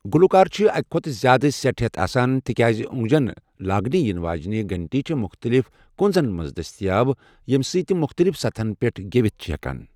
گلُوکار چھ اَکہِ کھۄتہٕ زیٛادٕ سٮ۪ٹ ہٮ۪تھ آسان، تِکیازِ اوٚنٛگجن لاگنہٕ یِنہٕ وٲجِنہِ گنٹیہ چھےٚ مُختلِف كُنٛزن منز دستیاب، ییٚمہِ سۭتۍ تِم مختلِف سطحن پٮ۪ٹھ گیوِتھ چھِ ہٮ۪كان ۔